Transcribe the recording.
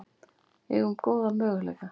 Eigum góða möguleika